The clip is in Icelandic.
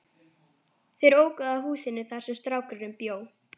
Þeir óku að húsinu þar sem strákurinn bjó.